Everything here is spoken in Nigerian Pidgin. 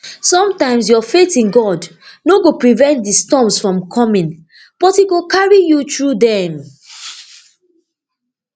sometimes your faith in god no go prevent di storms from coming but e e go carry you through dem